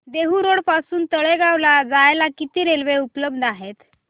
Dehu road पासून तळेगाव ला जायला किती रेल्वे उपलब्ध आहेत